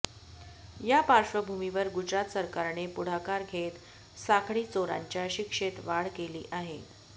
या पार्श्वभूमीवर गुजरात सरकारने पुढाकार घेत साखळी चोरांच्या शिक्षेत वाढ केली आहे